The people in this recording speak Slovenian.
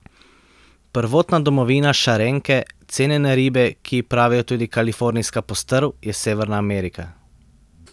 Prvotna domovina šarenke, cenjene ribe, ki ji pravijo tudi kalifornijska postrv, je Severna Amerika.